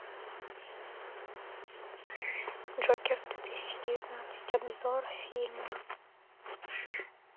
джокер две тысячи девятнадцать обзор фильма